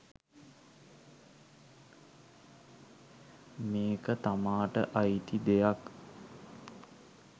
මේක තමාට අයිති දෙයක්